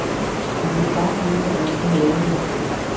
Han ville bare høre, hvordan de havde det.